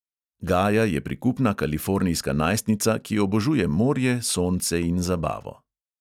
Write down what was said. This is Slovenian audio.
Gaja je prikupna kalifornijska najstnica, ki obožuje morje, sonce in zabavo.